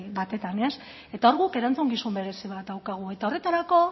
batetan ez eta hor guk erantzukizun berezi bat daukagu eta horretarako